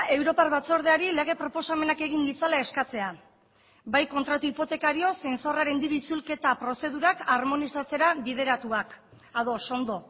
europar batzordeari lege proposamenak egin ditzala eskatzea bai kontratu hipotekario zein zorraren diru itzulketa prozedurak armonizatzera bideratuak ados ondo